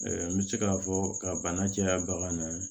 N bɛ se k'a fɔ ka bana caya bagan na